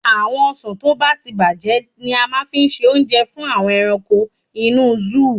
Àwọn ọsàn tó bá ti bàjẹ́ ni a máa fi ṣe oúnjẹ fún àwọn ẹranko inú sóò.